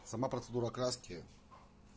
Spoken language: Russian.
сама процедура окраски